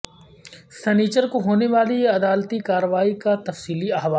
سنیچر کو ہونے والی عدالتی کارروائی کا تفصیلی احوال